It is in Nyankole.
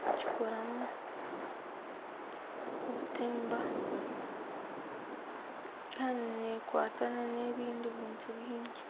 Bagikoramu obutimba. Kandi neekwata n'ebindi bintu bingi.